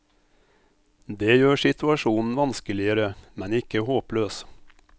Det gjør situasjonen vanskeligere, men ikke håpløs.